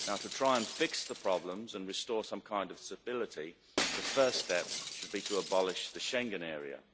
To try and fix the problems and restore some kind of stability the first step should be to abolish the Schengen area.